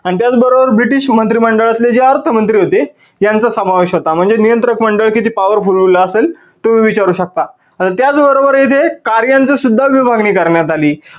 आणि त्याच बरोबर ब्रिटीश मंत्रीमंडळातले जे अर्थ मंत्री होते यांचा समावेश होता. म्हणजे नियंत्रक मंडळ किती powerful बनवलेला असेल तुम्ही विचारू शकता. तर त्याच बरोबर इथे कार्यांची सुद्धा विभागणी करण्यात आली.